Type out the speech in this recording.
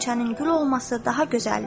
Qönçənin gül olması daha gözəldir.